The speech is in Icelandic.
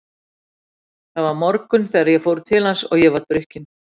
Það var morgunn þegar ég fór til hans og ég var drukkin.